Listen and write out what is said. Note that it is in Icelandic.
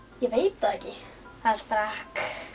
ég veit það ekki það sprakk